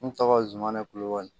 N tɔgɔ zumana kulubali